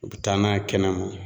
U bɛ taa n'a ye kɛnɛmɔ